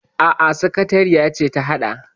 Aa, sakatariya ce ta haɗa.